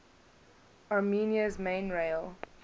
armenia's main rail